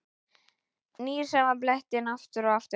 Nýr sama blettinn aftur og aftur.